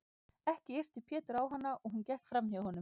Ekki yrti Pétur á hana og gekk hún fram hjá honum.